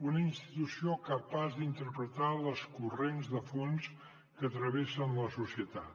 una institució capaç d’interpretar els corrents de fons que travessen la societat